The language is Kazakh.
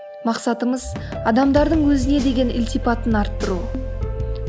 мақсатымыз адамдардың өзіне деген ілтипатын арттыру